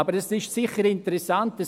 Aber sie ist sicher interessant.